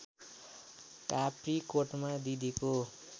काप्रीकोटमा दिदीको